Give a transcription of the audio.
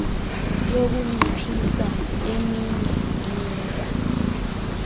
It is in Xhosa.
yokunciphisa eminye imiba